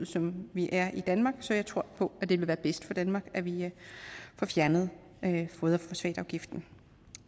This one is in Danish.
som vi er i danmark så jeg tror på at det vil være bedst for danmark at vi får fjernet foderfosfatafgiften